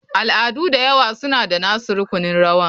Al'adu da yawa suna da nasu rukunin rawa.